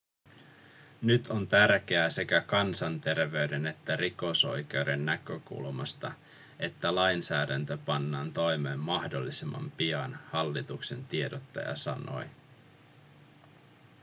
nyt on tärkeää sekä kansanterveyden että rikosoikeuden näkökulmasta että lainsäädäntö pannaan toimeen mahdollisimman pian hallituksen tiedottaja sanoi